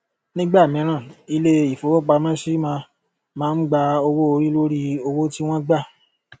nígbà míràn ilé ìfowópamọsí má má ń gba owó orí lórí owó tí wón gbà